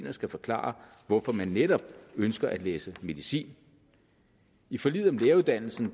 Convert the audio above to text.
og skal forklare hvorfor man netop ønsker at læse medicin i forliget om læreruddannelsen